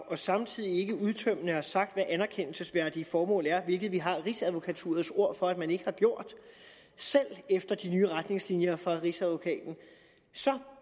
og samtidig ikke udtømmende har sagt hvad anerkendelsesværdige formål er hvilket vi har rigsadvokaturets ord for at man ikke har gjort selv efter de nye retningslinjer fra rigsadvokaten så